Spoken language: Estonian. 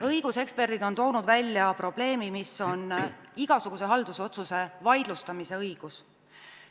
Õiguseksperdid on toonud välja probleemi, milleks on igasuguse haldusotsuse vaidlustamise õigus.